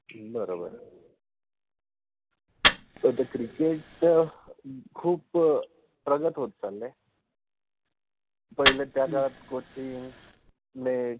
बर बर, तस क्रिकेट {cricket} खुप प्रगत होता नाहि पहिले त्या काळात कोचिंग, नेट